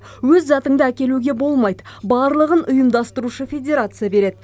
өз затыңды әкелуге болмайды барлығын ұйымдастырушы федерация береді